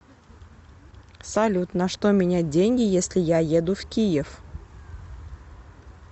салют на что менять деньги если я еду в киев